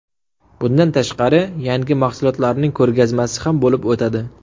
Bundan tashqari, yangi mahsulotlarning ko‘rgazmasi ham bo‘lib o‘tadi.